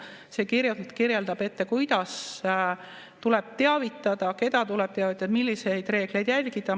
See kirjutab ette, kuidas tuleb teavitada, keda tuleb teavitada, milliseid reegleid järgida.